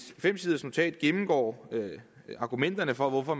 fem siders notat gennemgår argumenterne for hvorfor